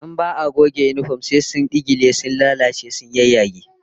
In ba'a goge yinifom sai su dingile, su lalace su yayyage